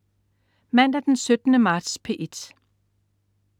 Mandag den 17. marts - P1: